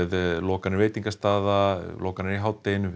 lokanir veitingastaða lokanir í hádeginu